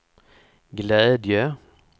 glädje